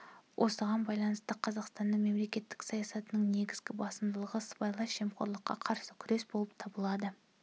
осыған байланысты қазақстанның мемлекеттік саясатының негізгі басымдығы сыбайлас жемқорлыққа қарсы күрес болып табылады